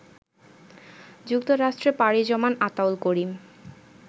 যুক্তরাষ্ট্রে পাড়ি জমান আতাউল করিম